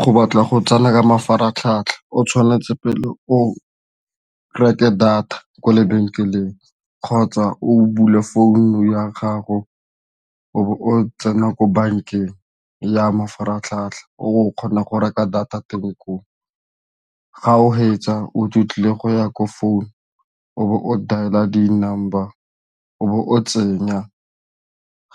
Go batla go tsena ka mafaratlhatlha o tshwanetse pele o reke data kwa lebenkeleng kgotsa o bule phone ya gago o bo o tsena ko bankeng ya mafaratlhatlha o kgona go reka data teng koo. Ga o fetsa o tlile go ya ko phone o bo o dial-a di-number o bo o tsenya,